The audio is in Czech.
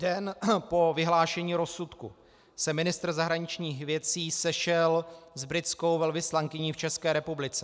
Den po vyhlášení rozsudku se ministr zahraničních věcí sešel s britskou velvyslankyní v České republice.